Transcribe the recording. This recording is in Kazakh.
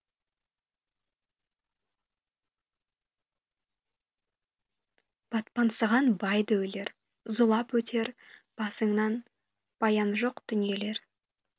батпансынған бай да өлер зулап өтер басыңнанбаяны жоқ дүниелер